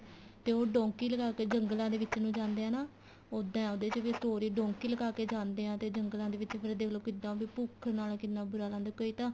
ਤੇ ਉਹ donkey ਲਗਾ ਕੇ ਜੰਗਲਾ ਦੇ ਵਿੱਚ ਨੂੰ ਜਾਂਦੇ ਏ ਨਾ ਉੱਦਾਂ ਉਹਦੇ ਚ ਵੀ story donkey ਲਗਾ ਕੇ ਜਾਂਦੇ ਏ ਤੇ ਜੰਗਲਾ ਦੇ ਵਿੱਚ ਫੇਰ ਦੇਖ ਲੋ ਕਿੱਦਾਂ ਫੇਰ ਭੁੱਖ ਨਾਲ ਕਿੰਨਾ ਬੂਰਾ ਲੱਗਦਾ ਕੋਈ ਤਾਂ